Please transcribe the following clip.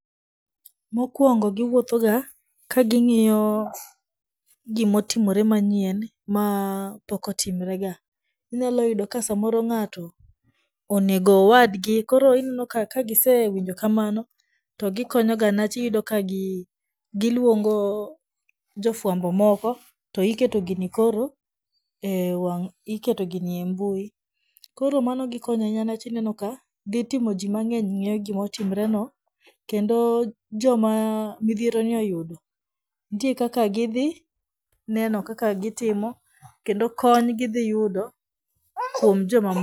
Mokwongo giwuotho ga ka ging'iyo gimotimre manyien, ma pok otimre ga . Inyalo yudo ka samoro ng'ato onego owadgi . koro ineno ka ka gisewinjo kamano to gikonyo ga newach iyudo ka gi giluongo jofwambo moko to iketo gini koro e wang' iketo gini e mbui. Koro mano gikonyo ahinya newach ineno ka dhi timo jii mang'eny ng'e gimotimore no kendo joma midhiero ni oyudo ntie kaka gidhi neno kaka gitimo kendo kony gidhi yudo kuom joma moko.